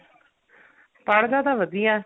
ਪੜ੍ਹਦਾ ਤਾਂ ਵਧੀਆ